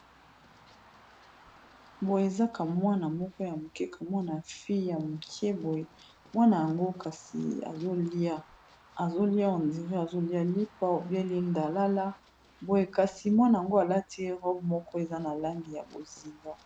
Boye ezakamwana moko ya mokeka mwana fie ya moke boye mwana yango kasi oliaazolia endire azolia lipa obyelindalala boye kasi mwana yango alati erope moko eza na langi ya bozinga.